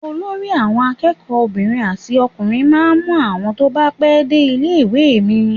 Olórí àwọn akẹ́kọ̀ọ́ obìnrin àti ọkùnrin máa ń mú àwọn tó bá pé dé ní ilé-ìwé mi.